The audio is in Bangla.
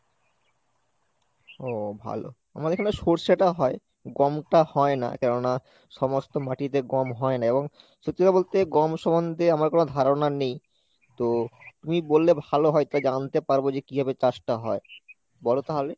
ও ভালো। আমাদের এখানে সর্ষেটা হয় গমটা হয় না কেননা সমস্ত মাটিতে গম হয় না এবং সত্যি কথা বলতে গম সম্মন্ধে আমার কোনো ধারণা নেই তো তুমি বললে ভালো হয় তাই জানতে পারবো যে কিভাবে চাষ টা হয়। বলো তাহলে।